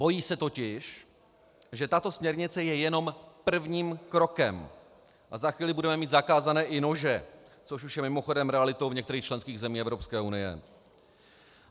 Bojí se totiž, že tato směrnice je jenom prvním krokem, a za chvíli budeme mít zakázány i nože, což už je mimochodem realitou v některých členských zemích Evropské unie.